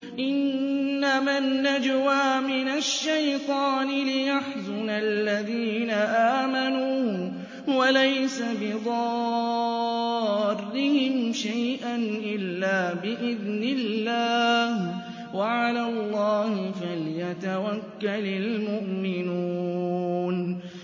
إِنَّمَا النَّجْوَىٰ مِنَ الشَّيْطَانِ لِيَحْزُنَ الَّذِينَ آمَنُوا وَلَيْسَ بِضَارِّهِمْ شَيْئًا إِلَّا بِإِذْنِ اللَّهِ ۚ وَعَلَى اللَّهِ فَلْيَتَوَكَّلِ الْمُؤْمِنُونَ